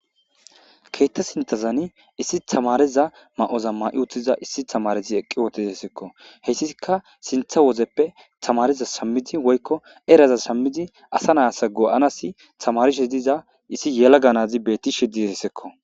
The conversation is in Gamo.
Keetta sintazani issi tamareza ma'oza ma'i uttiza issi tamarezi eqqi wootisessekko heyssiikka sintha wozeppe tamareza shammidi woykko eraza shammidi asa naassa go'anasi tamarishe diza issi yela ganazi beetti shididessekko.